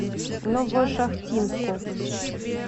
новошахтинску